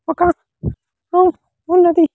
ఒక హౌస్ ఉన్నది.